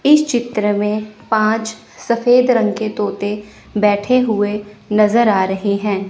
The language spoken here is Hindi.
इस चित्र में पांच सफेद रंग के तोते बैठे हुए नजर आ रहे हैं।